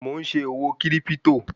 Mò ń ṣe òwò kírípítò